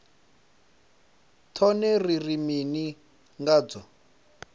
tshone ri ri mini ngatsho